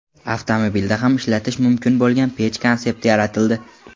Avtomobilda ham ishlatish mumkin bo‘lgan pech konsepti yaratildi.